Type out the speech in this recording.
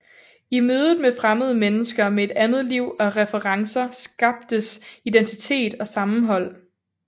I mødet med fremmede mennesker med et andet liv og referencer skabtes identitet og sammenhold